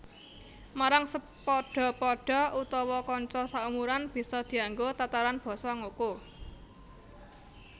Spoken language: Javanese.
Marang sepadha padha utawa kanca saumuran bisa dianggo tataran basa ngoko